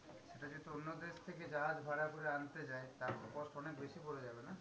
এটা যদি অন্য দেশ থেকে জাহাজ ভাড়া করে আনতে যায়, তার তো cost অনেক বেশি পড়ে যাবে না?